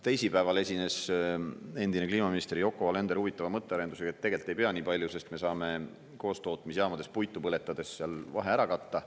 Teisipäeval esines endine kliimaminister Yoko Alender huvitava mõttearendusega, et tegelikult ei pea nii palju, sest me saame koostootmisjaamades puitu põletades seal vahe ära katta.